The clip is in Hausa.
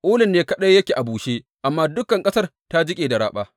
Ulun ne kaɗai yake a bushe, amma dukan ƙasar ta jiƙe da raɓa.